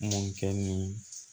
Mɔn kɛ ni